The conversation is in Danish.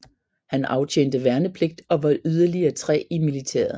Han aftjente værnepligt og var yderligere tre i militæret